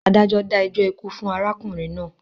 Adájọ́ dá ẹjọ́ ikú fún arákùnrin náà.